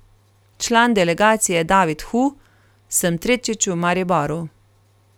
Član delegacije David Hu: 'Sem tretjič v Mariboru.